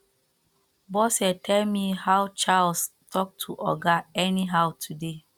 bose tell me how charles talk to oga anyhow today